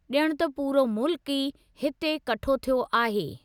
ज॒ण त पूरो मुल्क ई हिते कठो थियो आहे।